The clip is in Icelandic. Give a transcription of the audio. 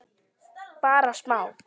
Bara smá.